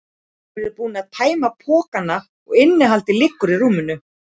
Þeir eru búnir að tæma pokana og innihaldið liggur á rúminu.